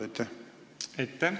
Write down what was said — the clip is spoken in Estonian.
Aitäh!